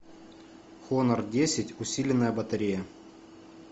хонор десять усиленная батарея